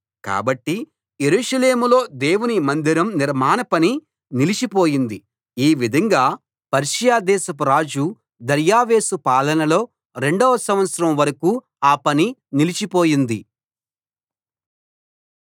కాబట్టి యెరూషలేములో దేవుని మందిరం నిర్మాణ పని నిలిచిపోయింది ఈ విధంగా పర్షియా దేశపు రాజు దర్యావేషు పాలనలో రెండో సంవత్సరం వరకూ ఆ పని నిలిచిపోయింది